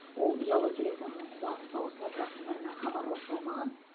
ол ұялы телефонының қуаты таусылып жақындарына хабарласа алмаған